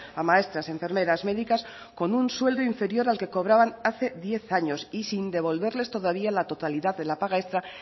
a maestras enfermeras médicas con un sueldo inferior al que cobraban hace diez años y sin devolverles todavía la totalidad de la paga extra